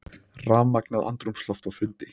Rafmagnað andrúmsloft á fundi